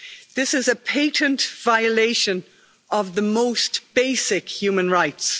This is a patent violation of the most basic human rights.